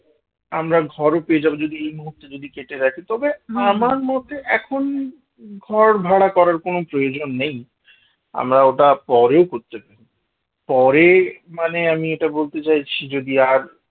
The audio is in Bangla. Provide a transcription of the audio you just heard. আমরা ঘরও পেয়ে যাব যদি এই মুহূর্তে যদি কেটে রাখি তবে আমার মতে এখন ঘর ভাড়া করার কোন প্রয়োজন নেই, আমরা ওটা পরে করতে পারি পরে মানে আমি এটা বলতে চাইছি যদি আর